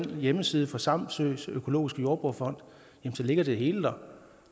hjemmesiden for samsøs økologiske jordbrugerfond ligger det hele der